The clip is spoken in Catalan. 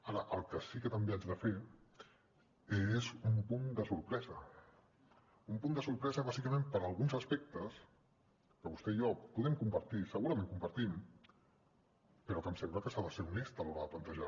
ara el que sí que també haig de fer és un punt de sorpresa un punt de sorpresa bàsicament per alguns aspectes que vostè i jo podem compartir i segurament compartim però em sembla que s’ha de ser honest a l’hora de plantejar